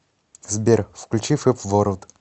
сбер включи фэб ворлд